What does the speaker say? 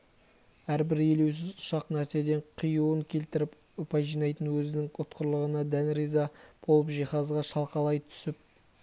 әрбір елеусіз ұсақ нәрседен қиюын келтіріп ұпай жинайтын өзінің ұтқырлығына дән риза болып жиһазға шалқалай түсіп